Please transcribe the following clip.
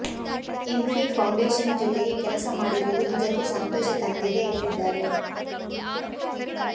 Infy Foundation ಜೊತೆಗೆ ಕೆಲಸ ಮಾಡಿರುವುದು ನಿಜಕ್ಕೂ ಸಂತೋಷ ತಂದಿದೆ ಎಂದಿದ್ದಾರೆ